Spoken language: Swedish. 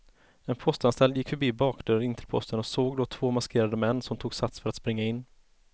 En postanställd gick förbi bakdörren in till posten och såg då två maskerade män som tog sats för att springa in.